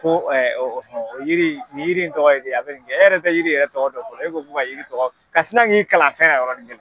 Ko o yiri in yiri in tɔgɔ ye di a bɛ nin kɛ e yɛrɛ tɛ yiri yɛrɛ tɔgɔ fɔlɔ e ko ko ka yiri tɔgɔ fɔ ka sina k'i kalan fɛnna yɔrɔ